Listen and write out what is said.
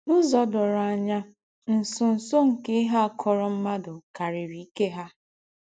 N’ụ́zọ̀ dòrò ànyà, ńsọ̀nsọ̀ nke íhe à kọ̀rọ̀ m̀ádụ́ kàrírí íkè ha.